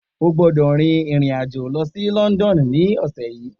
O gbọ́dọ̀ rin ìrìn-àjò lọ sí London ní ọ̀sẹ̀ yìí